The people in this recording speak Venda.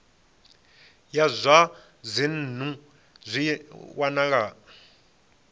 ya zwa dzinnu zwi wanala